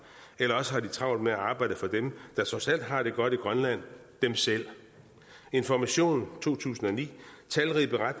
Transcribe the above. eller også har de travlt med at arbejde for dem der trods alt har det godt i grønland dem selv information 2009